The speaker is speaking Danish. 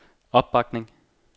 opbakning